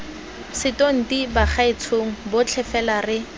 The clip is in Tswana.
setonti bagaetshong botlhe fela re